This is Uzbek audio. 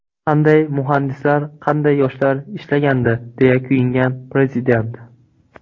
Qanday muhandislar, qanday yoshlar ishlagandi”, deya kuyingan Prezident.